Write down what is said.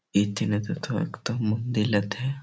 এথানে তোথাও একটা মন্দিল আথে।